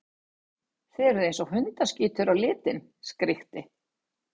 Þið eruð eins og hundaskítur á litinn, skríkti